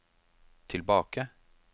tilbake